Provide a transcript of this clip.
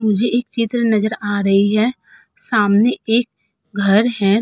मुझे एक चित्र नजर आ रही है। सामने एक घर है।